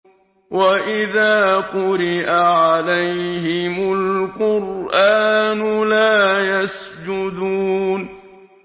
وَإِذَا قُرِئَ عَلَيْهِمُ الْقُرْآنُ لَا يَسْجُدُونَ ۩